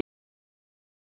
Lýsir yfir sakleysi sínu